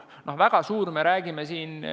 Noh, mis on väga suur?